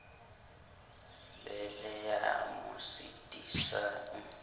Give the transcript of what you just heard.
be le ya mo sitisang